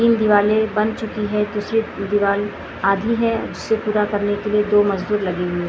तीन दीवालें बन चुकी हैं दूसरी दीवाल आधी है जिसे पूरा करने के लिए दो मजदूर लगे हुए हैं।